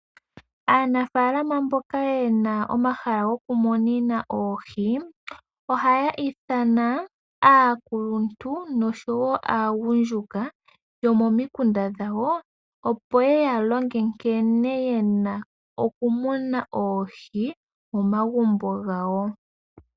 Aanafalama mboka yena omahala gokumunina oohi, ohaya ithana aakuluntu noshowo aagundjuka yomomikunda dhawo, opo yeya longe nkene yena okumuna oohi, momagumbo gawo.